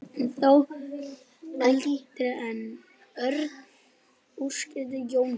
Ég var þó eldri en Örn útskýrði Jónsi.